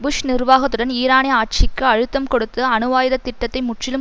push நிர்வாகத்துடன் ஈரானிய ஆட்சிக்கு அழுத்தம் கொடுத்து அணுவாயுத திட்டத்தை முற்றிலும்